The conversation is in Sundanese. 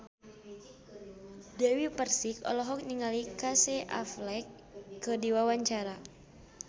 Dewi Persik olohok ningali Casey Affleck keur diwawancara